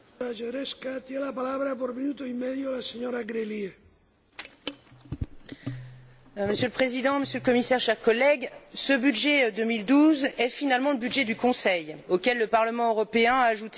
Monsieur le Président, Monsieur le Commissaire, chers collègues, ce budget 2012 est finalement le budget du Conseil, auquel le Parlement européen a ajouté un petit supplément d'âme grâce à quelques priorités obtenues, mais en crédits d'engagements, ce qui,